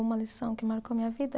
Uma lição que marcou a minha vida?